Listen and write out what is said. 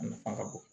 A nafa ka bon